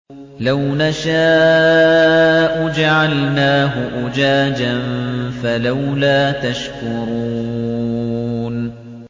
لَوْ نَشَاءُ جَعَلْنَاهُ أُجَاجًا فَلَوْلَا تَشْكُرُونَ